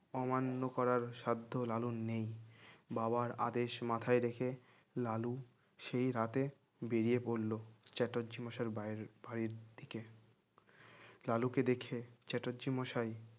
অমান্য করার সাধ্য লালুর নেই বাবার আদেশ মাথায় রেখে লালু সেই রাতে বেরিয়ে পড়ল চ্যাটার্জী মশায়ের বাইরে ভারির দিকে লালুকে দেখে চ্যাটার্জি মশাই